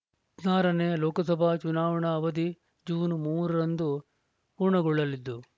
ಹದಿನಾರ ನೇ ಲೋಕಸಭಾ ಚುನಾವಣಾ ಅವಧಿ ಜೂನ್ ಮೂರ ರಂದು ಪೂರ್ಣಗೊಳ್ಳಲಿದ್ದು